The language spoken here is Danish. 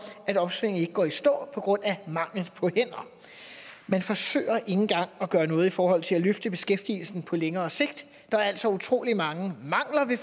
at opsvinget går i stå på grund af mangel på hænder man forsøger ikke engang at gøre noget i forhold til at løfte beskæftigelsen på længere sigt der er altså utrolig mange mangler ved